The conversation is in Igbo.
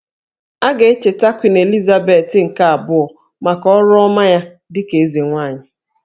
A ga-echeta Queen Elizabeth nke abụọ maka ọrụ ọma ya dịka eze nwaanyị